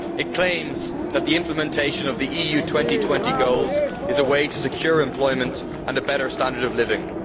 The report claims that the implementation of the EU 2020 goals is a way to secure employment and a better standard of living.